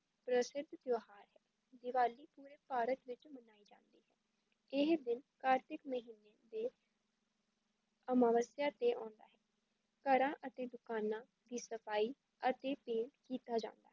ਪ੍ਰਸਿੱਧ ਤਿਉਹਾਰ ਹੈ, ਦੀਵਾਲੀ ਪੂਰੇ ਭਾਰਤ ਵਿੱਚ ਮਨਾਈ ਜਾਂਦੀ ਹੈ, ਇਹ ਦਿਨ ਕਾਰਤਿਕ ਮਹੀਨੇ ਦੇ ਅਮਾਵਸਿਆ 'ਤੇ ਆਉਂਦਾ ਹੈ, ਘਰਾਂ ਅਤੇ ਦੁਕਾਨਾਂ ਦੀ ਸਫਾਈ ਅਤੇ paint ਕੀਤਾ ਜਾਂਦਾ ਹੈ,